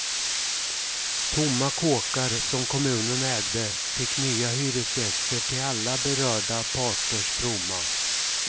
Tomma kåkar som kommunen ägde fick nya hyresgäster till alla berörda parters fromma.